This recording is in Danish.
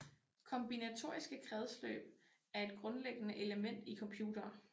Kombinatoriske kredsløb er et grundlæggende element i computere